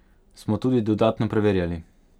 Smo tudi dodatno preverjali.